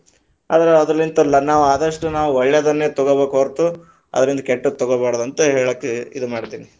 ಅದರಲ್ಲಿಂತ ಅಲ್ಲ ಆದಷ್ಟು ನಾವ ಒಳ್ಳೇದನ್ನ ತಗೋಬೇಕ ಹೊರತು, ಅದ್ರಿಂದ ಕೆಟ್ಟದ ತಗೋಬಾರದ ಅಂತ ಹೇಳಾಕ ಇದು ಮಾಡ್ತಿನ.